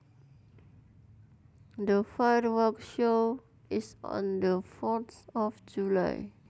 The firework show is on the fourth of July